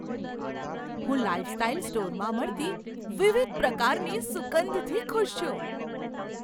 હું લાઈફસ્ટાઈલ સ્ટોરમાં મળતી વિવિધ પ્રકારની સુગંધથી ખુશ છું.